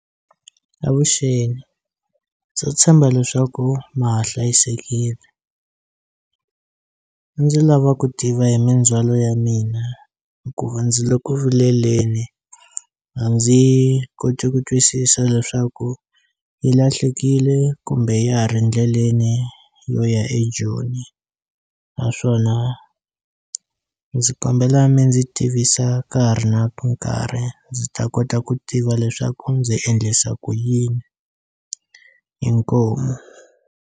Avuxeni ndzi tshemba leswaku ma ha hlayisekile a ndzi lava ku tiva hi mindzhwalo ya mina hikuva ndzi le ku vileleni a ndzi koti ku twisisa leswaku yi lahlekile kumbe ya ha ri ndleleni yo ya eJoni naswona ndzi kombela mi ndzi tivisa ka ha ri na nkarhi ndzi ta kota ku tiva leswaku ndzi endlisa ku yini inkomu.